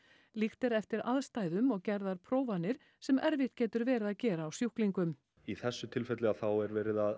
líkt er eftir aðstæðum og gerðar prófanir sem erfitt getur verið að gera á sjúklingum í þessu tilfelli þá er verið að